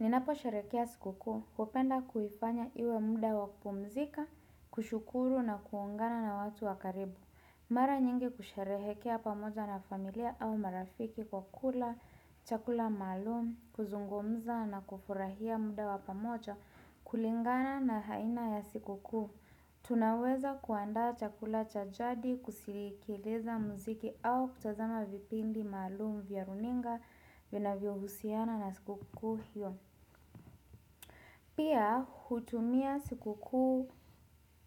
Ninaposherekea sikukuu hupenda kuifanya iwe muda wa kupumzika, kushukuru na kuungana na watu wa karibu. Mara nyingi husherehekea pamoja na familia au marafiki kwa kula, chakula maalum, kuzungumza na kufurahia muda wapamoja kulingana na haina ya siku kuhu. Tunaweza kuandaa chakula cha jadi, kusikiliza muziki au kutazama vipindi maalum vya runinga, vinavyohusiana na sikukuu hiyo. Pia hutumia sikukuu